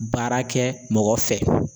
Baara kɛ mɔgɔ fɛ